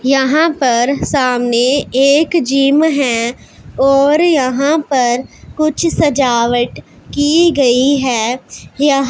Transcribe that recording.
यहां पर सामने एक जिम हैं और यहां पर कुछ सजावट की गई है यहां--